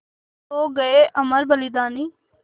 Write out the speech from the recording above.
सो गये अमर बलिदानी